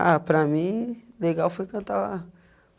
Ah, para mim, legal foi cantar lá.